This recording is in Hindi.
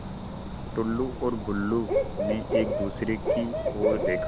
टुल्लु और बुल्लु ने एक दूसरे की ओर देखा